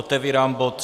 Otevírám bod